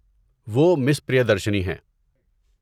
وہ مس پریادرشنی ہیں۔